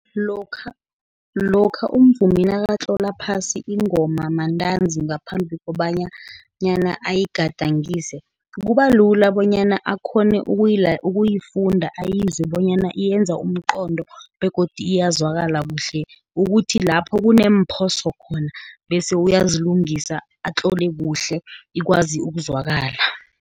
Lokha umvumi nakatlola phasi ingoma mantanzi ngaphambi kobanyana ayigadangise, kuba lula bonyana akghone ukuyifunda azizwe bonyana yenza umqondo, begodu iyazwakala kuhle, ukuthi lapho kuneemphoso khona, bese uyazilungisa atlole kuhle ikwazi ukuzwakala.